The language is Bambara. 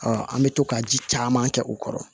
an bɛ to ka ji caman kɛ u kɔrɔ